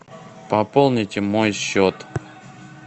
пополните мой счет